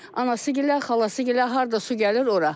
Anası gilə, xalası gilə harda su gəlir ora.